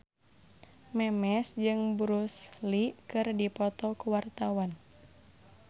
Memes jeung Bruce Lee keur dipoto ku wartawan